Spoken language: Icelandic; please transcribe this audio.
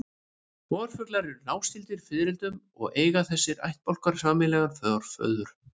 Vorflugur eru náskyldar fiðrildum og eiga þessir ættbálkar sameiginlegan forföður.